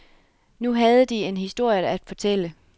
Nu havde de en historie at fortælle.